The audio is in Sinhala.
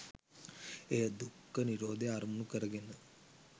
එය දුක්ඛ නිරෝධය අරමුණු කර ගෙන